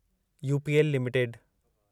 UPL limited